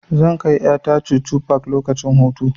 Zan kai ƴa ta chuchu park lokacin hutu.